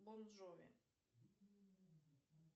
бон джови